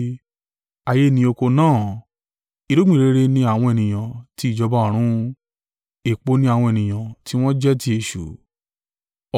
Ayé ni oko náà; irúgbìn rere ni àwọn ènìyàn ti ìjọba ọ̀run. Èpò ni àwọn ènìyàn tí wọ́n jẹ́ ti èṣù,